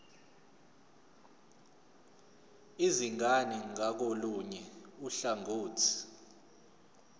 izingane ngakolunye uhlangothi